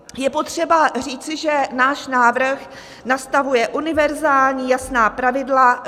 Je potřeba říci, že náš návrh nastavuje univerzální jasná pravidla.